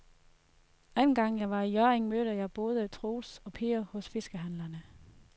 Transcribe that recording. Anden gang jeg var i Hjørring, mødte jeg både Troels og Per hos fiskehandlerne.